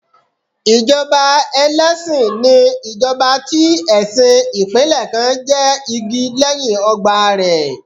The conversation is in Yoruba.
Ìjọba ẹlẹ́sìn ni ìjọba tí ẹ̀sìn ìpínlẹ̀ kan jẹ́ igi lẹ́yìn ọgbà rẹ̀.